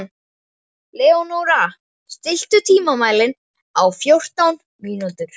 Leónóra, stilltu tímamælinn á fjórtán mínútur.